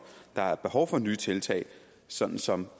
der er behov for nye tiltag sådan som